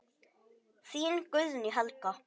Þín Guðný Helga.